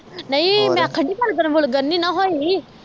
ਨਹੀਂ ਮੈਂ ਹੋਰ ਆਖਣ ਡਈ ਐਧਰ ਵਲਗਣ ਨਹੀਂ ਨਾ ਹੋਈ